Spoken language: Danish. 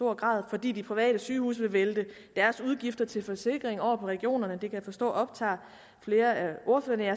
fordi de private sygehuse vil vælte deres udgifter til forsikringer over på regionerne det kan jeg forstå optager flere af ordførerne